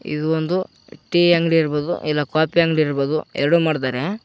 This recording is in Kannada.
ಇದು ಒಂದು ಟಿ ಅಂಗಡಿ ಇರಬಹುದು ಇಲ್ಲ ಕಾಫಿ ಅಂಗಡಿ ಇರಬಹುದು ಎರಡು ಮಾಡ್ತಾರೆ.